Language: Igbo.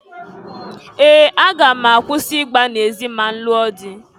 Ee! Aga m akwụsi igba n'ezi ma nlụọ dị.